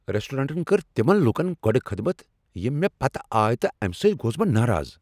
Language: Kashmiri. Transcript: ریسٹورانٹن کٔر تمن لوٗکن گۄڈ خدمت یم مےٚ پتہٕ آیہ تہٕ امہ سۭتۍ گوس بہٕ ناراض۔